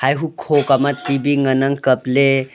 ehuh kho kama T_V ngan ang kapley.